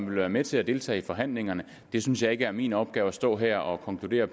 vil være med til at deltage i forhandlingerne jeg synes ikke er min opgave at stå her og konkludere